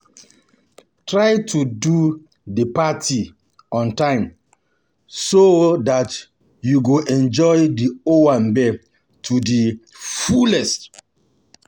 Try to go di party on time so um dat you um go enjoy di um owambe to di fullest